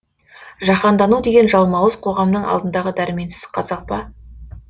жаһандану деген жалмауыз қоғамның алдындағы дәрменсіз қазақ па